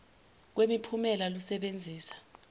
kwemi phumela lusebenzisa